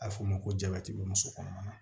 A bɛ f'o ma ko jabati be muso kɔnɔma